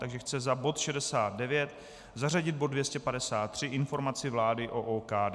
Takže chce za bod 69 zařadit bod 253 informaci vlády o OKD.